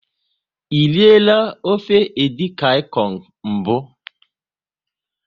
E riela ofe edikaikong mbụ?